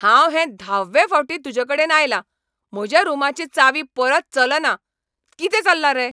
हांव हे धाव्वे फावटीं तुजेकडेन आयलां. म्हज्या रूमाची चावी परत चलना. कितें चल्लां रे?